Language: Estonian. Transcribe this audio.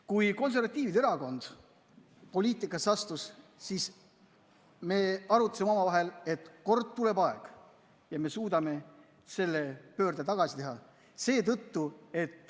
Kui konservatiivide erakond poliitikasse astus, siis me arutasime omavahel, et kord tuleb aeg, kui me suudame selle tagasi pöörata.